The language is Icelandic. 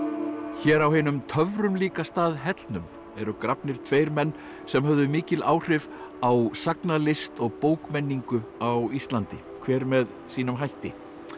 hér á hinum töfrum líka stað hellnum eru grafnir tveir menn sem höfðu mikil áhrif á sagnalist og bókmenningu á Íslandi hvor með sínum hætti